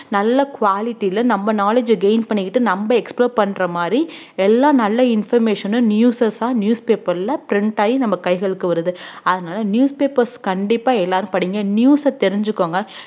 நல்ல quality ல நம்ம knowledge அ gain பண்ணிக்கிட்டு நம்ம explore பண்ற மாதிரி எல்லா நல்ல information னு newsers ஆ newspaper ல print ஆயி நம்ம கைகளுக்கு வருது அதனால newspapers கண்டிப்பா எல்லாரும் படிங்க news அ தெரிஞ்சுக்கோங்க